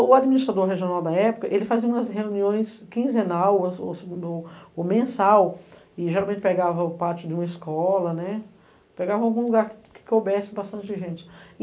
O administrador regional da época, ele fazia umas reuniões quinzenal ou mensal, e geralmente pegava o pátio de uma escola, né?! Pegava em algum lugar que coubesse bastante gente.